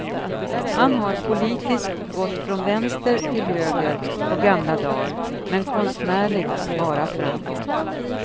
Han har politiskt gått från vänster till höger på gamla dar, men konstnärligt bara framåt.